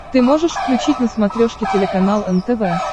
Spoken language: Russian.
ты можешь включить на смотрешке телеканал нтв